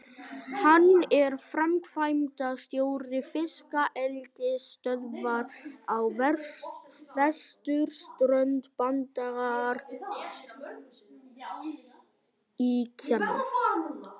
Hann er framkvæmdastjóri fiskeldisstöðvar á vesturströnd Bandaríkjanna.